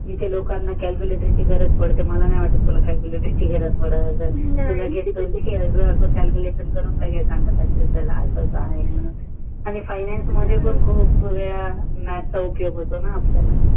इथे लोकांना ची गरज पडते मला नाही वाटत तुला जारज पडत असेल तू तर असाच करून सागत असशील अस अस आहे मानून